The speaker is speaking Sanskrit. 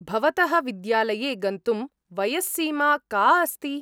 भवतः विद्यालये गन्तुं वयस्सीमा का अस्ति?